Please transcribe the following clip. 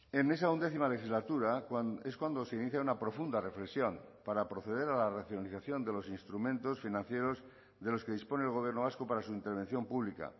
en esa undécima legislatura es cuando se inicia una profunda reflexión para proceder a la racionalización de los instrumentos financieros de los que dispone el gobierno vasco para su intervención pública